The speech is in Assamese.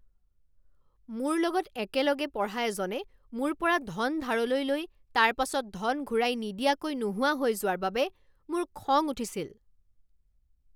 মোৰ লগত একেলগে পঢ়া এজনে মোৰ পৰা ধন ধাৰলৈ লৈ তাৰ পাছত ধন ঘূৰাই নিদিয়াকৈ নোহোৱা হৈ যোৱাৰ বাবে মোৰ খং উঠিছিল।